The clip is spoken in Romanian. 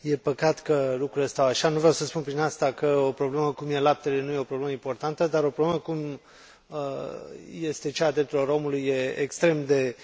E păcat că lucrurile stau așa. Nu vreau să spun prin asta că o problemă cum este laptele nu este o problemă importantă, dar o problemă cum este cea a drepturilor omului este extrem de